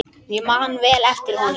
Ég man vel eftir honum.